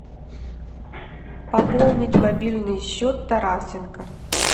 пополнить мобильный счет тарасенко